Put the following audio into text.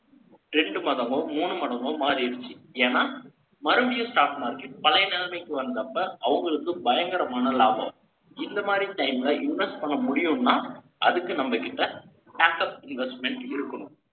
ரெண்டு மதமோ, மூணு மாதமோ மாறிடுச்சு. ஏன்னா, மறுபடியும் stock market, பழைய நிலைமைக்கு வந்தப்ப, அவங்களுக்கு பயங்கரமான லாபம். இந்த மாதிரி time ல, invest பண்ண முடியும்னா, அதுக்கு நம்ம கிட்ட, back up investment இருக்கணும்.